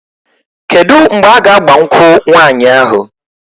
Kedu mgbe a ga-agba nkwụ nwaanyị ahụ?